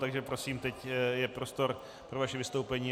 Takže prosím, teď je prostor pro vaše vystoupení.